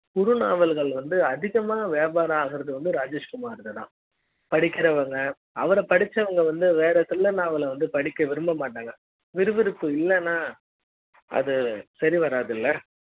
குறு நாவல்கள் வந்து அதிகமா வியாபார ஆகுற து ராஜேஷ்குமார் தான் படிக்கிற வங்க அவர படிச்ச வங்க வந்து வேற thriller நாவலை படிக்க விரும்ப மாட்டாங்க விறு விறுப்பு இல்லனா அது சரி வராது இல்ல